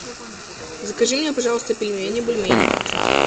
закажи мне пожалуйста пельмени бульмени